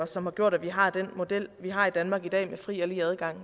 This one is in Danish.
som har gjort at vi har den model vi har i danmark i dag med fri og lige adgang